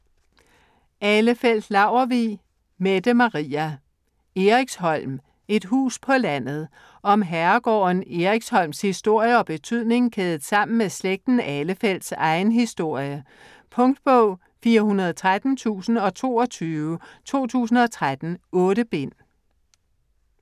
Ahlefeldt-Laurvig, Mette Maria: Eriksholm: et hus på landet Om herregården Eriksholms historie og betydning kædet sammen med slægten Ahlefeldts egen historie. Punktbog 413022 2013. 8 bind.